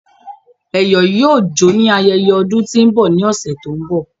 Eyo yoo jo ni ayeye odun to n bọ ni ọsẹ to n bọ